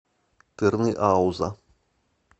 тырныауза